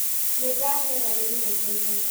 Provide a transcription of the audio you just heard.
Nĩndahera nĩ ĩnegene.